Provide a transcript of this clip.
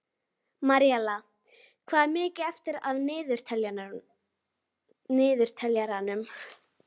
Maríella, hvað er mikið eftir af niðurteljaranum?